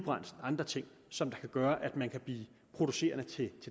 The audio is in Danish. andre ting som kan gøre at man kan blive producenter af